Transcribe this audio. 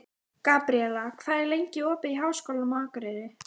Telma Tómasson: Heimir hvað ætlar stjórnarandstaðan að gera?